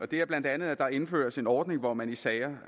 det er bla at der indføres en ordning hvor man i sager